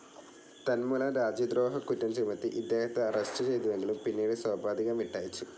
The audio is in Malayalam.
തന്മൂലം രാജ്യദ്രോഹക്കുറ്റം ചുമത്തി ഇദ്ദേഹത്തെ അറസ്റ്റു ചെയ്തുവെങ്കിലും പിന്നീട് സോപാധികം വിട്ടയച്ചു.